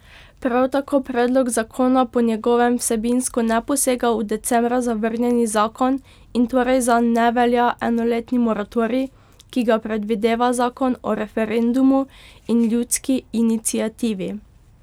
Prav tako predlog zakona po njegovem vsebinsko ne posega v decembra zavrnjeni zakon in torej zanj ne velja enoletni moratorij, ki ga predvideva zakon o referendumu in ljudski iniciativi.